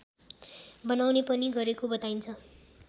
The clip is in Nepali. बनाउने पनि गरेको बताइन्छ